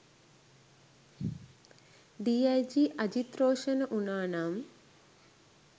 D I G Ajith Roshana වුනානම්